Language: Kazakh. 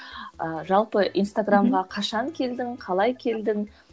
ыыы жалпы инстаграмға қашан келдің қалай келдің